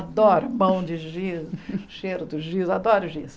Adoro pão de giz, cheiro do giz, adoro o giz.